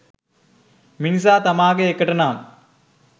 මිනිසා තමාගේ එකට නම්